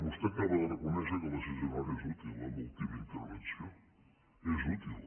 vostè acaba de reconèixer que la sisena hora és útil en l’última intervenció és útil